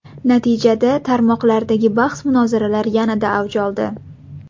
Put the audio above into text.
Natijada tarmoqlardagi bahs-munozaralar yanada avj oldi.